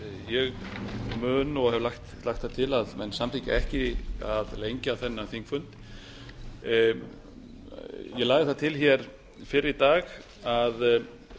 ég mun og hef lagt það til að menn samþykki ekki að lengja þennan þingfund ég lagði það til fyrr í dag að